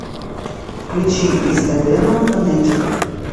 включи из эдема фонетик